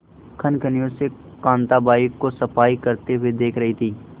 कनखियों से कांताबाई को सफाई करते हुए देख रही थी